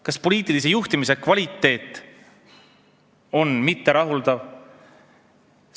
Kas poliitilise juhtimise kvaliteet on mitterahuldav?